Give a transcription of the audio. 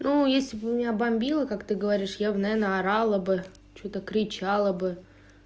ну если бы у меня бомбило как ты говоришь я бы наверно орала бы что-то кричала бы